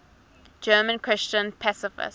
german christian pacifists